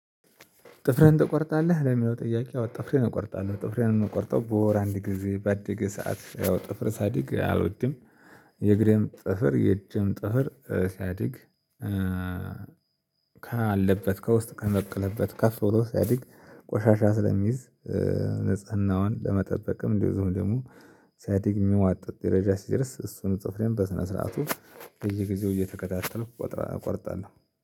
ጥፍርህን ትቆርጣለህ ለሚለው ጥያቄ? አዎ ጥፍሬን እቆርጣለሁ ጥፍርን ነው የምቆርጠው በወር አንድ ጊዜ ባደገ ሰዓት ያው ጥፍር ሳያድግ አልወድም። የእግሬም ጥፍር የእጅም ጥፍር ሳያድግ ካለ ካለበት ከውስጥ ከበቀለበት ከፍ ብሎ ሳይድግ ቆሻሻ ስለሚይዝ። ንጽህናዋን ለመጠበቅም እንደው ዝም ደግሞ ሳያዲግ የሚዋጥጥ ደረጃ ሲደርስ እሱን ጥፍሬን በስነ ስርዓቱ በየጊዜው እየተከታተሉ ቆጥራ እቆርጣለሁ